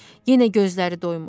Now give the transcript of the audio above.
Yenə gözləri doymur.